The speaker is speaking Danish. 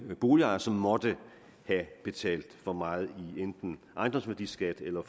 boligejere som måtte have betalt for meget i enten ejendomsværdiskat eller